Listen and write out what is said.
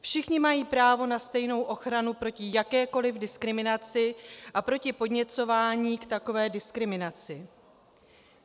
Všichni mají právo na stejnou ochranu proti jakékoli diskriminaci a proti podněcování k takové diskriminaci.